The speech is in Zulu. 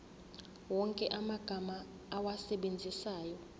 wonke amagama owasebenzisayo